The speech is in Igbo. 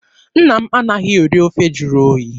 Nna m anaghị eri ofe jụrụ oyi.